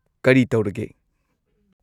ꯀꯔꯤ ꯇꯧꯔꯒꯦ?